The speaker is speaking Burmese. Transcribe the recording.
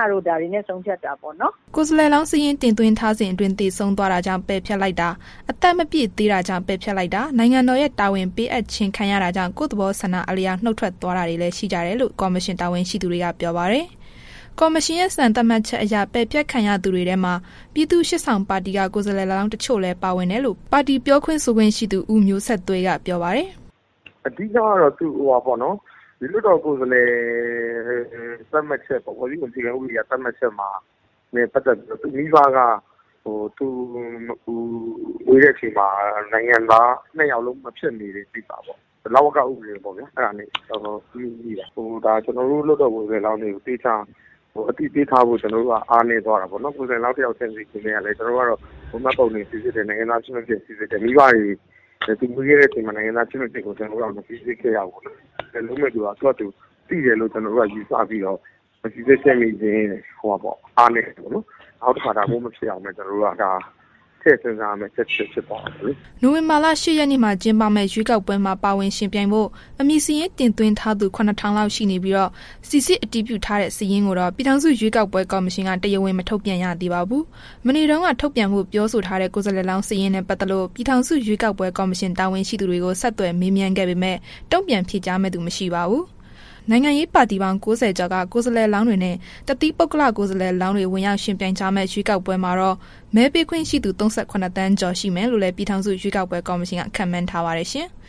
င) တို့ ဒါတွေနဲ့ ဆုံးဖြတ်တာပေါ့နော်။” ကိုယ်စားလှယ်လောင်းစာရင်း တင်သွင်းထားစဉ်အတွင်း သေဆုံးသွားတကြောင့် ပယ်ဖျက်လိုက်တာ၊ အသက်မပြည့်သေးတာကြောင့် ပယ်ဖျက်လိုက်တာ၊ နိုင်ငံတော်ရဲ့ တာဝန်ပေးအပ်ခြင်းခံတာကြောင့် ကိုယ့်သဘောဆန္ဒအလျောက် နုတ်ထွက်သွားတာတွေလည်း ရှိကြတယ်လို့ ကော်မရှင် တာဝန်ရှိသူတွေက ပြောပါတယ်။ ကော်မရှင်ရဲ့ စံသတ်မှတ်ချက်အရ ပယ်ဖျက်ခံရသူတွေထဲမှာ ပြည်သူ့ရှေ့ဆောင်ပါတီက ကိုယ်စားလှယ်လောင်း တချို့လည်း ပါဝင်တယ်လို့ ပါတီပြောရေးဆိုခွင့်ရှိသူ ဦးမျိုးဆက်သွေးက ပြောပါတယ်။ “အဓိကကတော့ ဒီလွှတ်တော်ကိုယ်စားလှယ် သတ်မှတ်ချက်ပေ့ါ၊ ဖွဲ့စည်းပုံအခြေခံဥပဒေအရ သတ်မှတ်ချက်နဲ့ ပတ်သက်ပြီးတော့ မိဘက သူမွေးတဲ့ အချိန်မှာ နှစ်ယောက်လုံးက နိုင်ငံသား ဖြစ်မနေတဲ့ ကိစ္စပေါ့။ လဝက ဥပဒေပေါ့ဗျာ အဲ့ဒါနဲ့ ငြိတာ။ ဒါ ကျနော်တို့ လွှတ်တော် ကိုယ်စားလှယ်လောင်းတွေ ကိစ္စ အသိပေးထားဖို့ အားနည်းသွားတာပေါ့နော်။ ကိုယ်စားလှယ်လောင်း တစ်ယောက်ချင်းစီကို ကျနော်တို့ကတော့ မှတ်ပုံတင် စိစစ်တယ်၊ နိုင်ငံသားဖြစ်မဖြစ် စိစစ်တယ်။ မိဘတွေဟာ သူတို့မွေးတဲ့ အခါ နိုင်ငံသားဖြစ်မဖြစ်ကို မစိစစ်ခဲ့ရဘူးပေါ့နော်။ အဲ့ဒါကို သူဟာသူ သိတယ်လို့ ကျနော်တို့က ယူဆပြီးတော့ မစိစစ်ခဲ့ခြင်းရဲ့ အားနည်းချက်ပေါ့။ နောက်တစ်ခါ ဒါမျိုးမဖြစ်အောင်လို့ ထည့်စဉ်းစားရမယ့် အချက်တစ်ချက် ဖြစ်သွာတာပေါ့လေ။” နိုဝင်ဘာလ ၈ ရက်နေ့မှာ ကျင်းပမယ့် ရွေးကောက်ပွဲမှာ ဝင်ရောက်ယှဉ်ပြိုင်ဖို့ အမည်စာရင်းတင်သွင်းထားသူ ၇,၀၀၀ လောက် ရှိနေပြီး စိစစ်အတည်ပြုထားတဲ့ စာရင်းကိုတော့ ပြည်ထောင်စုရွေးကောက်ပွဲ ကော်မရှင်က တရားဝင် မထုတ်ပြန်ရသေးပါဘူး။ မနေ့တုန်းက ထုတ်ပြန်ဖိ့ု ပြောဆိုထားတဲ့ ကိုယ်စားလှယ်လောင်းစာရင်းနဲ့ ပတ်သက်လို့ ပြည်ထောင်စု ရွေးကောက်ပွဲ ကော်မရှင်တာဝန်ရှိသူတွေကို ဆက်သွယ်မေးမြန်းခဲ့ပေမဲ့ တုံ့ပြန်ဖြေကြားမယ့်သူ မရှိပါဘူး။ နိုင်ငံရေးပါတီပေါင်း ၉၀ ကျော်က ကိုယ်စားလှယ်လောင်းတွေနဲ့ တသီးပုဂ္ဂလကိုယ်စားလှယ်လောင်းတွေ ဝင်ရောက်ယှဉ်ပြိုင်ကြမယ့် ရွေးကောက်ပွဲမှာတော့ မဲပေးခွင့်ရှိသူ ၃၇ သန်းကျော်ရှိမယ်လို့လည်း ပြည်ထောင်စုရွေးကောက်ပွဲ ကော်မရှင်က ခန့်မှန်းထားပါတယ်ရှင်။